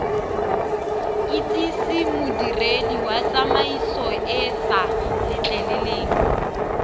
itsise modiredi wa tsamaisoeesa letleleleng